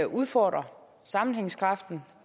udfordrer sammenhængskraften